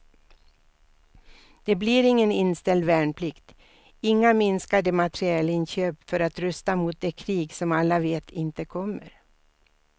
Det blir ingen inställd värnplikt, inga minskade materielinköp för att rusta mot det krig som alla vet inte kommer.